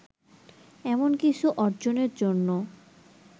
এমন কিছু অর্জনের জন্য